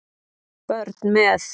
Börn með